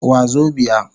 Wazobia